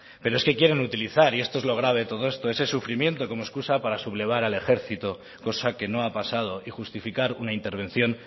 pero es que quieren utilizar y esto es lo grave de todo esto ese sufrimiento como excusa para sublevar al ejército cosa que no ha pasado y justificar una intervención